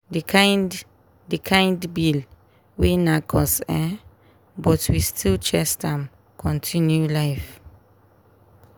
the kind the kind bill wey nack us ehhn but we still chest am continue life.